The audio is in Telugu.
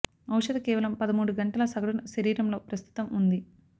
ఔషధ కేవలం పదమూడు గంటల సగటున శరీరం లో ప్రస్తుతం ఉంది